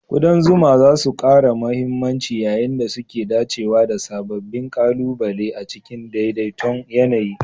ƙudan zuma za su ƙara mahimmanci yayin da suke dacewa da sababbin ƙalubale a cikin daidai ton yAna yi